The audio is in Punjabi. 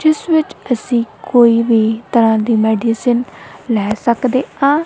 ਜਿੱਸ ਵਿੱਚ ਅੱਸੀ ਕੋਈ ਵੀ ਤਰਹਾਂ ਦੀ ਮੈਡੀਸਿਨ ਲੈ ਸਕਦੇਆਂ।